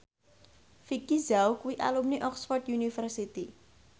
Vicki Zao kuwi alumni Oxford university